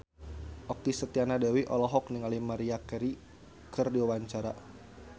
Okky Setiana Dewi olohok ningali Maria Carey keur diwawancara